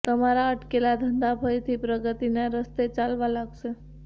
તમારા અટકેલા ધંધા ફરી થી પ્રગતી ના રસ્તે ચાલવા લાગશે